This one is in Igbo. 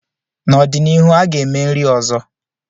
N'ọdịnihu, a ga-eme nri ọzọ.